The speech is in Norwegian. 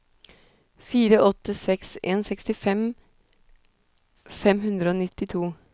fire åtte seks en sekstifem fem hundre og nittito